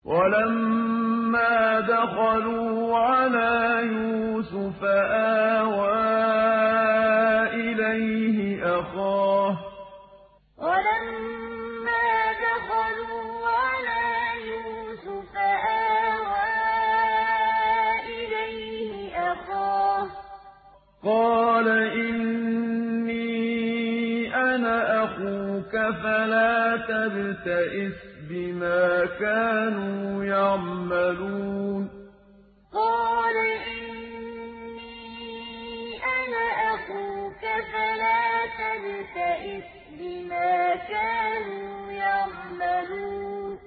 وَلَمَّا دَخَلُوا عَلَىٰ يُوسُفَ آوَىٰ إِلَيْهِ أَخَاهُ ۖ قَالَ إِنِّي أَنَا أَخُوكَ فَلَا تَبْتَئِسْ بِمَا كَانُوا يَعْمَلُونَ وَلَمَّا دَخَلُوا عَلَىٰ يُوسُفَ آوَىٰ إِلَيْهِ أَخَاهُ ۖ قَالَ إِنِّي أَنَا أَخُوكَ فَلَا تَبْتَئِسْ بِمَا كَانُوا يَعْمَلُونَ